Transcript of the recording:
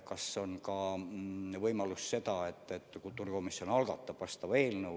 Vahest on ka võimalus, et kultuurikomisjon algatab vastava eelnõu.